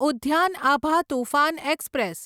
Udyan Abha Toofan express